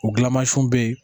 O gilamansiw bɛ yen